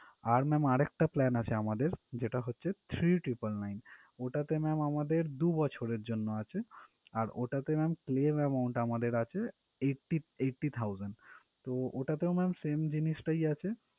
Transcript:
আর ma'am আরেকটা plan আছে আমদের যেটা হচ্ছে three triple nine ওটাতে ma'am আমদের দু বছরের জন্য আছে আর ওটাতে ma'am claim amount আমাদের আছে eighty eighty thousands তো ওটাতেও ma'am same জিনিসটাই আছে।